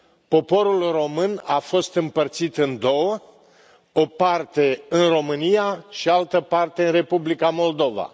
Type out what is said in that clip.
Poporul român a fost împărțit în două o parte în România și altă parte în Republica Moldova.